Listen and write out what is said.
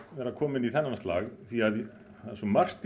vera kominn í þennan slag því það er svo margt